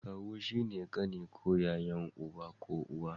Kawu shine kani ko yayan uba ko uwa